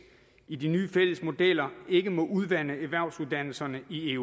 i de nye fælles modeller ikke må udvande erhvervsuddannelserne i